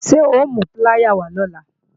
Ṣé o mú píláyà wá lọ̀la?